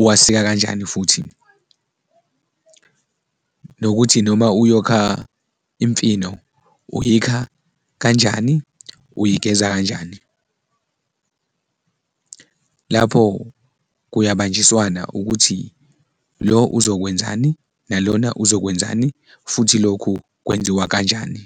uwasika kanjani futhi nokuthi noma uyokha imfino uyikha kanjani, uyigeza kanjani? Lapho kuyabanjiswana ukuthi lo uzokwenzani nalona uzokwenzani futhi lokhu kwenziwa kanjani?